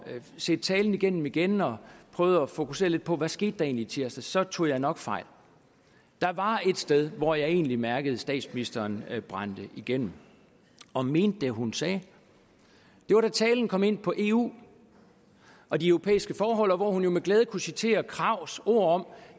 set talen igennem igen og prøvet at fokusere på hvad skete i tirsdags så tog jeg nok fejl der var et sted hvor jeg egentlig mærkede at statsministeren brændte igennem og mente hvad hun sagde det var da talen kom ind på eu og de europæiske forhold hvor hun jo med glæde kunne citere krags ord om